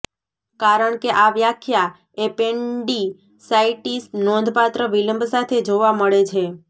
કારણ કે આ વ્યાખ્યા એપેન્ડિસાઈટિસ નોંધપાત્ર વિલંબ સાથે જોવા મળે છે